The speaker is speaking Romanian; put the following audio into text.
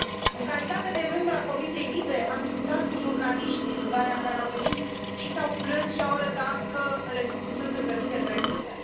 În calitate de membră a comisiei LIBE, am discutat cu jurnaliști din Ungaria care au venit și s au plâns și au arătat că le sunt îngrădite drepturile.